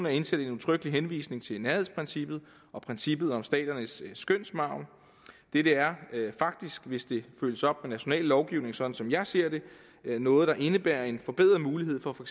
er indsat en udtrykkelig henvisning til nærhedsprincippet og princippet om staternes skønsmargen dette er faktisk hvis det følges op med national lovgivning sådan som jeg ser det noget der indebærer en forbedret mulighed for for